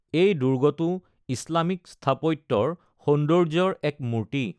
এই দুৰ্গটো ইছলামিক স্থাপত্যৰ সৌন্দৰ্য্যৰ এক মূৰ্ত্তি।